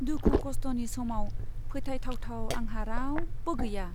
दुखु खस्थनि समाव फोथायथावथाव आंहा रावबो गैया।